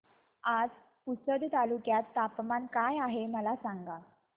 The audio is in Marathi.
आज पुसद तालुक्यात तापमान काय आहे मला सांगा